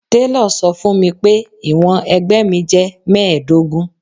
Télọ̀ sọ fún mi pé ìwọ̀n ẹ̀gbẹ́ mi jẹ́ mẹ́ẹ̀ẹ́dógún.